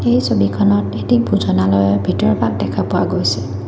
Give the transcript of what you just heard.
এই ছবিখনত এটি ভোজানালয়ৰ ভিতৰ ভাগ দেখা পোৱা গৈছে।